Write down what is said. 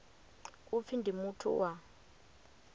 u pfi ndi muthu wa